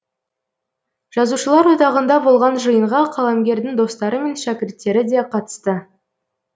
жазушылар одағында болған жиынға қаламгердің достары мен шәкірттері де қатысты